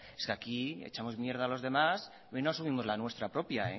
es que aquí echamos mierda a los demás y no asumimos la nuestra propia